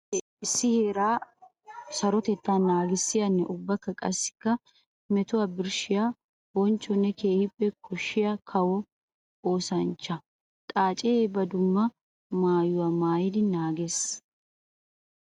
Xaace issi heera sarotetta naagissiyanne ubba qassikka metuwa birshshiya bonchchonne keehippe koshiya kawo ooshshanchcha. Xaace ba dumma maayuwa maayiddi naages.